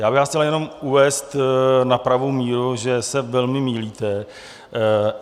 Já bych vás chtěl jenom uvést na pravou míru, že se velmi mýlíte.